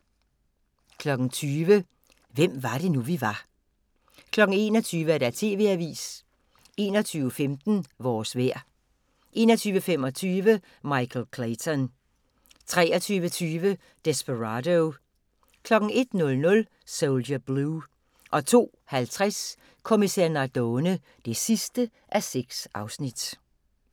20:00: Hvem var det nu, vi var 21:00: TV-avisen 21:15: Vores vejr 21:25: Michael Clayton 23:20: Desperado 01:00: Soldier Blue 02:50: Kommissær Nardone (6:6)